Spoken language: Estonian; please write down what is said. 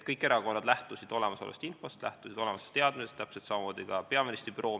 Kõik erakonnad lähtusid olemasolevast infost, lähtusid olemasolevast teadmisest, täpselt samamoodi ka peaministri büroo.